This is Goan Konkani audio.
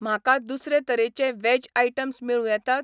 म्हाका दुसरे तरेचे व्हेज आयटम्स मेळूं येतात?